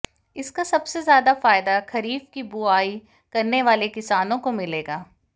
इसका सबसे ज्यादा फायदा खरीफ की बुआई करने वाले किसानों को मिलेगा